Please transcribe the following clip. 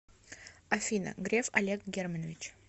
афина греф олег германович